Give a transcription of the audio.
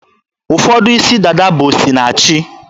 Ụfọdụ isi dada bụ osinachi